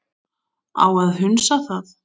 Á að hunsa það?